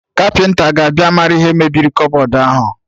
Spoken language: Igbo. Kapịnta ga-abịa marụ ihe mebiri kọbọd ahụ